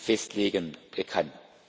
festlegen kann.